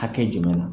Hakɛ jumɛn na